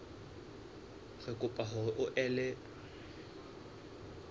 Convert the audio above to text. re kopa hore o ele